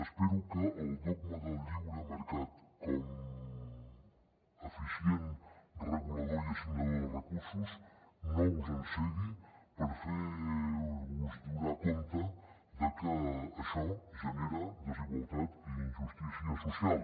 espero que el dogma del lliure mercat com a eficient regulador i assignador de recursos no us encegui per fer vos adonar de que això genera desigualtat i injustícia social